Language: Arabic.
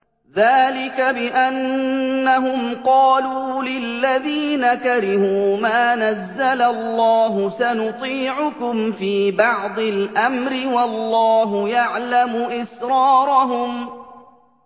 ذَٰلِكَ بِأَنَّهُمْ قَالُوا لِلَّذِينَ كَرِهُوا مَا نَزَّلَ اللَّهُ سَنُطِيعُكُمْ فِي بَعْضِ الْأَمْرِ ۖ وَاللَّهُ يَعْلَمُ إِسْرَارَهُمْ